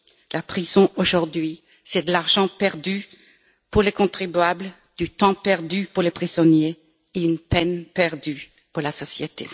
La prison aujourd'hui, c'est de l'argent perdu pour les contribuables, du temps perdu pour les prisonniers et peine perdue pour la société.